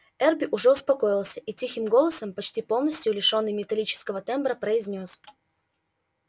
эрби уже успокоился и тихим голосом почти полностью лишённым металлического тембра произнёс